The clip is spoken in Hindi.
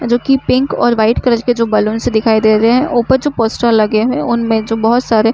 जो की पिंक और व्हाइट कलर के जो बलूनस दिखाई दे रहे है। ऊपर जो पोस्टर लगे हुए है। उनमे जो बहुत सारे--